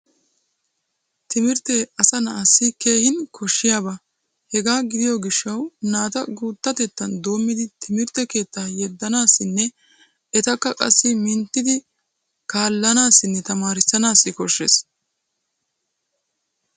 Timirttee asa na'assi keehin koshshiyaba. Hega gidiyo gishshawu naata guuttatettan doommidi timirtte keettaa yeddanaassinne etakka qassi minttidi kaallanaassinne tamaarissanaassi koshshees.